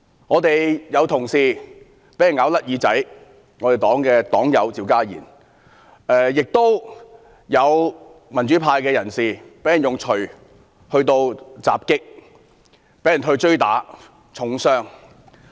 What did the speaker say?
我們有同事被咬甩耳朵，那便是我們的黨友趙家賢，亦有民主派人士被人用鎚襲擊和追打至重傷。